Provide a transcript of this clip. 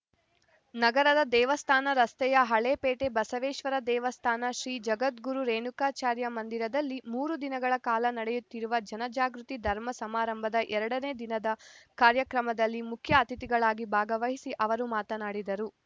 ನಗರದ ದೇವಸ್ಥಾನ ರಸ್ತೆಯ ಹಳೇ ಪೇಟೆ ಬಸವೇಶ್ವರ ದೇವಸ್ಥಾನ ಶ್ರೀ ಜಗದ್ಗುರು ರೇಣುಕಾಚಾರ್ಯ ಮಂದಿರದಲ್ಲಿ ಮೂರು ದಿನಗಳ ಕಾಲ ನಡೆಯುತ್ತಿರುವ ಜನಜಾಗೃತಿ ಧರ್ಮ ಸಮಾರಂಭದ ಎರ ನೇ ದಿನದ ಕಾರ್ಯಕ್ರಮದಲ್ಲಿ ಮುಖ್ಯ ಅತಿಥಿಗಳಾಗಿ ಭಾಗವಹಿಸಿ ಅವರು ಮಾತನಾಡಿದರು